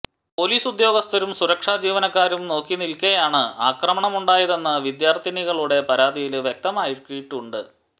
police ഉദ്യോഗസ്ഥരും സുരക്ഷാ ജീവനക്കാരും നോക്കിനില്ക്കെയാണ് ആക്രമണമുണ്ടായതെന്ന് വിദ്യാര്ഥിനികളുടെ പരാതിയില് വ്യക്തമാക്കിയിട്ടുണ്ട്